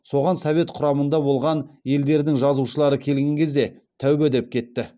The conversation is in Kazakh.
соған совет құрамында болған елдердің жазушылары келген кезде тәубә деп кетті